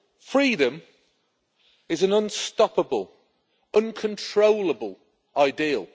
Freedom is an unstoppable, uncontrollable ideal.